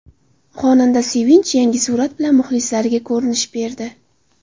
Xonanda Sevinch yangi surat bilan muxlislariga ko‘rinish berdi.